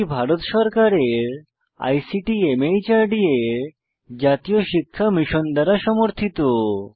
এটি ভারত সরকারের আইসিটি মাহর্দ এর জাতীয় শিক্ষা মিশন দ্বারা সমর্থিত